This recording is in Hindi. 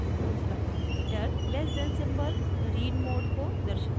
दूसरा parameter < less than symbol read mode को दर्शाता है